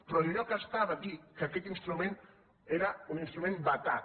però enlloc estava dit que aquest instrument era un instrument vetat